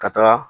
Ka taga